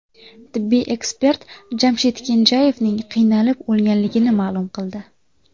Tibbiy ekspert Jamshid Kenjayevning qiynalib o‘lganligini ma’lum qildi .